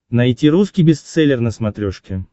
найти русский бестселлер на смотрешке